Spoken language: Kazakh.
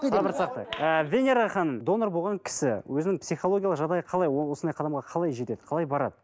сабыр сақтайық ыыы венера ханым донор болған кісі өзінің психологиялық жағдайы қалай ол осындай қадамға қалай жетеді барады